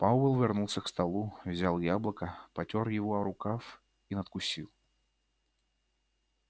пауэлл вернулся к столу взял яблоко потёр его о рукав и надкусил